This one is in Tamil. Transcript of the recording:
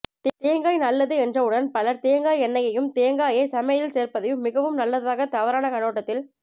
தேங்காய் நல்லது என்றவுடன் பலர் தேங்காய் எண்ணையையும் தேங்காயைச் சமையலில் சேர்ப்பதையும் மிகவும் நல்லதாக தவறான கண்ணோட்டத்தில்